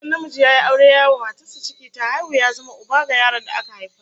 Idan namiji ya yi aure yayi wa matarsa ciki ta haihu, ya zama uba ga yaron da aka haifa